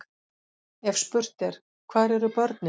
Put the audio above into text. Ef spurt er: hvar eru börnin?